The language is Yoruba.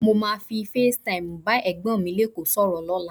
Mo máa fi Face Time bá Ẹ̀gbọ́n mi lékòó sọ̀rọ̀ lọ́la.